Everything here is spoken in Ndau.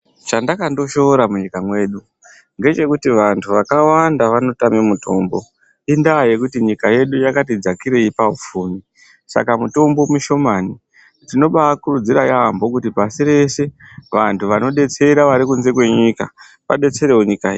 Chandakandoshoora munyika mwedu ngechekuti vantu vakawanda vanotama mutombo. Indaa yekuti nyika yedu yakati dzakirei paupfumi. Saka mutombo mushomani. Tinobaakurudzira yaamho kuti pasi reshe vantu vanodetsera vari kunze kwenyika vadetserewo nyika yedu.